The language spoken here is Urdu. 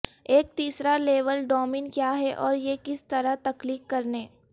ایک تیسرا لیول ڈومین کیا ہے اور یہ کس طرح تخلیق کرنے